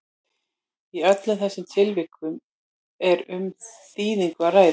í öllum þessum tilvikum er um þýðingu að ræða